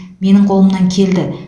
менің қолымнан келді